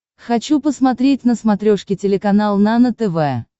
хочу посмотреть на смотрешке телеканал нано тв